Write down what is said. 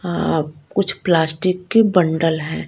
अ कुछ प्लास्टिक के बंडल है।